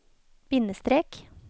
bindestrek